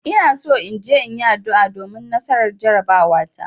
Ina so in je in yi addu'a domin nasarar jarabawata.